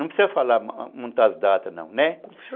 Não precisa falar muitas datas, não, né?